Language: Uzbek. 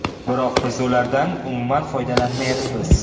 Biroq biz ulardan umuman foydalanmayapmiz.